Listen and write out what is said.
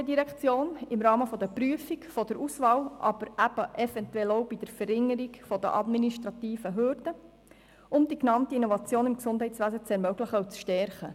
Weiter rechnen wir mit dem Entgegenkommen der GEF bei der Prüfung und Auswahl, aber eventuell auch bei der Verringerung der administrativen Hürden, um die genannten Innovationen im Gesundheitswesen zu ermöglichen und zu stärken.